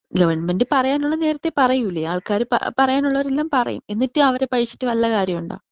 Government പറയാനുള്ള നേരത്തെ പറയൂലേ. ആൾക്കാര് പറ പറയാൻ ഉള്ളവരെല്ലാം പറയും. എന്നിട്ട് അവരെ പഴിച്ചിട്ട് വല്ല കാര്യമുണ്ടോ?